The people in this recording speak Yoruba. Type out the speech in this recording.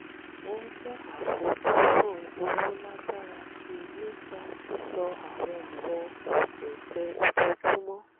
ó mú àfojúsùn owó lágbára sí i nípa sísọ àwọn ọ̀rọ̀ òkunkun ojoojúmọ́